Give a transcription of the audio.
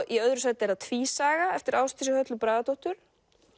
í öðru sæti er það tvísaga eftir Ásdísi Höllu Bragadóttur